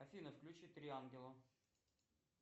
афина включи три ангела